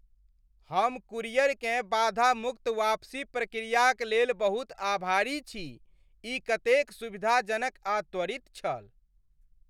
हम कुरियरकेँ बाधा मुक्त वापसी प्रक्रियाक लेल बहुत आभारी छी, ई कतेक सुविधाजनक आ त्वरित छल।